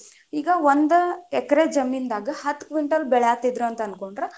ಈಗ ಒಂದ ಎಕ್ರೆ ಜಮೀನದಾಗ ಹತ್ತ್ ಕ್ವಿಂಟಲ ಬೆಳ್ಯಾತಿದ್ರ ಅಂತ ಅನ್ಕೊಂಡ್ರಾ.